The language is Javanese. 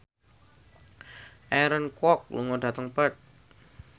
Aaron Kwok lunga dhateng Perth